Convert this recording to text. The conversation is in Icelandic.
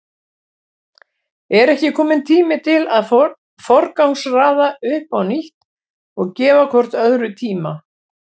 Er ekki kominn tími til að forgangsraða upp á nýtt og gefa hvort öðru tíma?